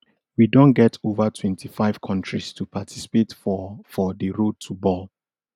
we don get ova twenty-five kontris to participate for for di road to bal